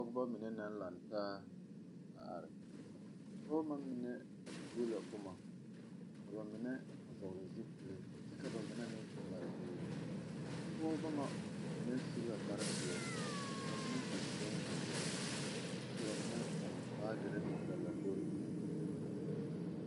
Pɔgeba mine naŋ laŋe taa a are, a pɔgeba ŋa mine tuo la boma ka ba mine vɔgeli zupile kyɛ ka ba mine mare biiri a pɔgeba ŋa mine su la kparre pɛɛle ka ba mine su bonzeɛre kyɛ ka ba mine meŋ ponne baagere ba lambori eŋɛ.